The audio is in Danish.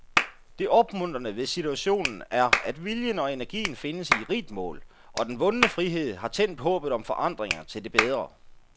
Det opmuntrende ved situationen er, at viljen og energien findes i rigt mål, og den vundne frihed har tændt håbet om forandringer til det bedre.